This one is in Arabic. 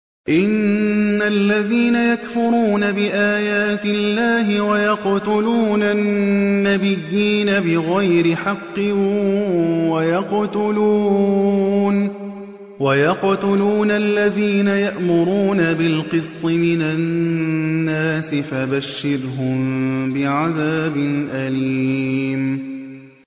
إِنَّ الَّذِينَ يَكْفُرُونَ بِآيَاتِ اللَّهِ وَيَقْتُلُونَ النَّبِيِّينَ بِغَيْرِ حَقٍّ وَيَقْتُلُونَ الَّذِينَ يَأْمُرُونَ بِالْقِسْطِ مِنَ النَّاسِ فَبَشِّرْهُم بِعَذَابٍ أَلِيمٍ